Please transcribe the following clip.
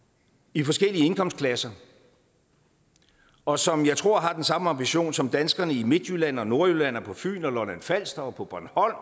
i forskellige indkomstklasser og som jeg tror har den samme ambition som danskerne i midtjylland og nordjylland og på fyn og lolland falster og på bornholm